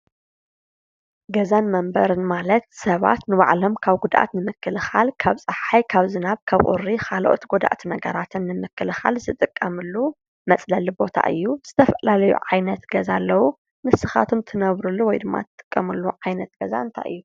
ገዛን መንበርን ማለት ሰባት ንባዕሎም ካብ ጉድኣት ንምክልኻል ካብ ፀሓይ ካብ ዝናብ ካብ ቁሪ ካልኦት ጎዳእቲ ነገራትን ንምክልኻል ዝጥቀሙሉ መፅለሊ ቦታ እዩ። ዝተፈላለዩ ዓይነት ገዛ ኣለዎ ።ንስካትኩም ትነብሩሉ ወይ ትጥቀሙሉ ዓይነት ገዛ እንታይ እዩ ?